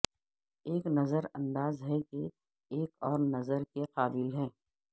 ایک نظر انداز ہے کہ ایک اور نظر کے قابل ہے